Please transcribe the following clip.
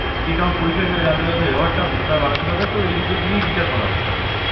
ঠিক, আমার পরিচয় সেটা জানতে গেলে তো ব্যবহারটা তার মানসিকতা তো এই দুটো দিয়েই বিচার করা হয় সব সময়